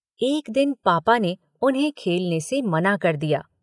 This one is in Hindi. एक दिन पापा ने उन्हें खेलने से मना कर दिया।